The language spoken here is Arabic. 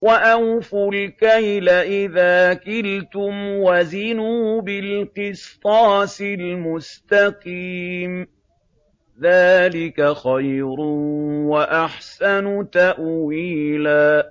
وَأَوْفُوا الْكَيْلَ إِذَا كِلْتُمْ وَزِنُوا بِالْقِسْطَاسِ الْمُسْتَقِيمِ ۚ ذَٰلِكَ خَيْرٌ وَأَحْسَنُ تَأْوِيلًا